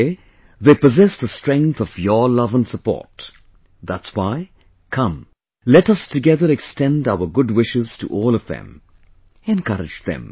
Today, they possess the strength of your love and support that's why, come...let us together extend our good wishes to all of them; encourage them